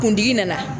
Kuntigi nana